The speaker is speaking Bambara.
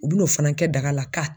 U bi n'o fana kɛ daga la ka.